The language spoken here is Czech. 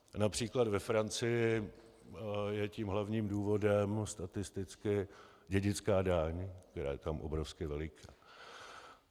Například ve Francii je tím hlavním důvodem statisticky dědická daň, která je tam obrovsky veliká.